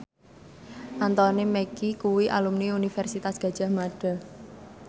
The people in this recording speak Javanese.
Anthony Mackie kuwi alumni Universitas Gadjah Mada